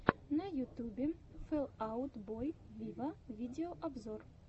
на ютубе фэл аут бой виво видеообзор